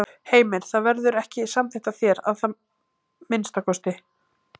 Heimir: Það verður ekki samþykkt af þér, að minnsta kosti?